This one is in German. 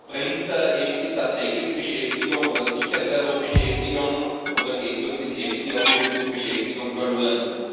Bringt der EFSI tatsächlich Beschäftigung, oder sichert er nur Beschäftigung, oder geht durch den EFSI auch irgendwo Beschäftigung verloren?